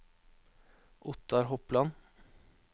Ottar Hopland